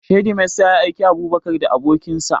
Shedimasta ya aiki Abubakar da abokin sa